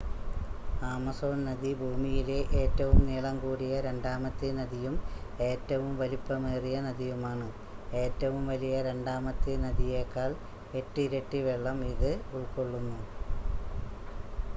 Amazon നദി ഭൂമിയിലെ ഏറ്റവും നീളംകൂടിയ രണ്ടാമത്തെ നദിയും ഏറ്റവും വലിപ്പമേറിയ നദിയുമാണ് ഏറ്റവും വലിയ രണ്ടാമത്തെ നദിയേക്കാൾ 8 ഇരട്ടി വെള്ളം ഇത് ഉൾക്കൊള്ളുന്നു